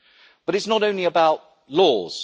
But it is not only about laws.